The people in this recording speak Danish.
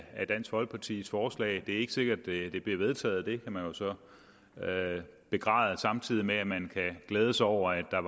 af dansk folkepartis forslag det er ikke sikkert at det bliver vedtaget det kan man jo så begræde samtidig med at man kan glæde sig over at der